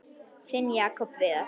Þinn Jakob Viðar.